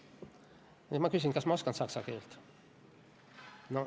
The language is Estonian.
Ja nüüd ma küsin, kas ma oskan saksa keelt.